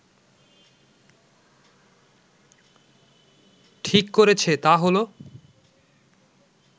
ঠিক করেছে তা হলো